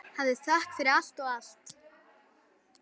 Hafðu þökk fyrir allt og allt.